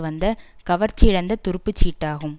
வந்த கவர்ச்சியிழந்த துரும்புச் சீட்டாகும்